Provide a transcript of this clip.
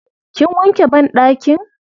Kin wanke banɗakin?